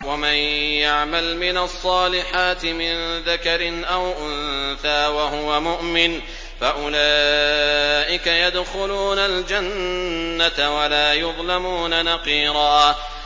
وَمَن يَعْمَلْ مِنَ الصَّالِحَاتِ مِن ذَكَرٍ أَوْ أُنثَىٰ وَهُوَ مُؤْمِنٌ فَأُولَٰئِكَ يَدْخُلُونَ الْجَنَّةَ وَلَا يُظْلَمُونَ نَقِيرًا